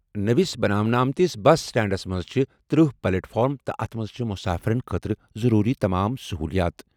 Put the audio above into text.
نٔوِس بناونہٕ آمتِس بس سٹینڈس منٛز چھِ تٔرہ پلیٹ فارم تہٕ اَتھ منٛز چھِ مُسافِرن خٲطرٕ ضروٗری تمام سٔہوٗلِیات۔